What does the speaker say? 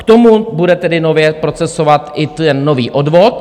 K tomu bude tedy nově procesovat i ten nový odvod.